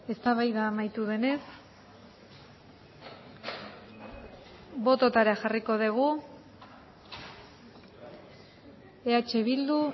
eztabaida amaitu denez bototara jarriko dugu eh bildu